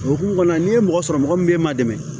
O hukumu kɔnɔna n'i ye mɔgɔ sɔrɔ mɔgɔ min bɛ e man dɛmɛ